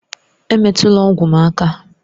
Emetụla ọgwụ m aka!